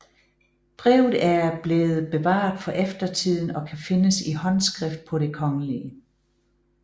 Brevet er blevet bevaret for eftertiden og kan findes i håndskrift på Det Kgl